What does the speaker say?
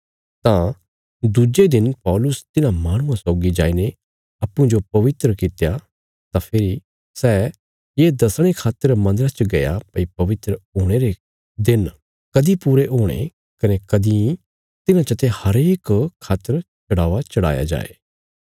तां दुज्जे दिन पौलुस तिन्हां माहणुआं सौगी जाईने अप्पूँजो पवित्र कित्या तां फेरी सै ये दसणे खातर मन्दरा च गया भई पवित्र हुणे रे दिन कदीं पूरे होणे कने कदीं तिन्हां चते हरेक खातर चढ़ावा चढ़ाया जाये